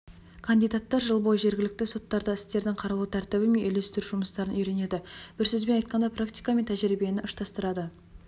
кандидаттар жыл бойы жергілікті соттарда істердің қаралу тәртібі мен үйлестіру жұмыстарын үйренеді бір сөзбен айтқанда практика мен тәжірибені ұштастырады